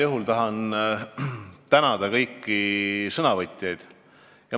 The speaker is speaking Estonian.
Ma tahan tänada kõiki sõnavõtjaid.